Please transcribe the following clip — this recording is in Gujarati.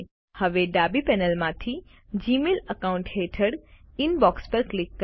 હવે ડાબી પેનલ માંથી જીમેઇલ અકાઉન્ટ હેઠળ ઇનબોક્સ ઉપર ક્લિક કરો